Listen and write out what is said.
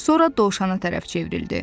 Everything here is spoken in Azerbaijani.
Sonra dovşana tərəf çevrildi.